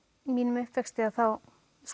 mínum uppvexti þá